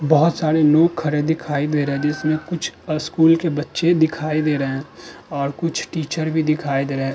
बहोत सारे लोग खड़े दिखाई दे रहे हैं जिसमें कुछ स्कूल के बच्चे दिखाई दे रहे हैं और कुछ टीचर भी दिखाई दे रहे हैं।